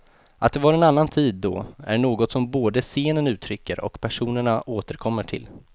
Att det var en annan tid då är något som både scenen uttrycker och personerna återkommer till.